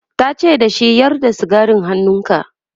tace da shi"Yar da sigarin hannunka!'